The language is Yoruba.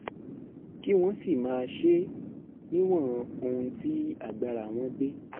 kí wọ́n sì máa ṣe é níwọ̀n ohun tí agbára wọn gbé